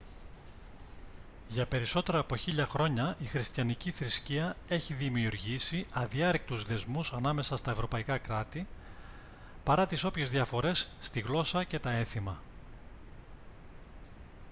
για περισσότερα από χίλια χρόνια η χριστιανική θρησκεία έχει δημιουργήσει αδιάρρηκτους δεσμούς ανάμεσα στα ευρωπαϊκά κράτη παρά τις όποιες διαφορές στη γλώσσα και τα έθιμα